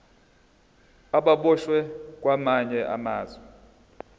ababoshwe kwamanye amazwe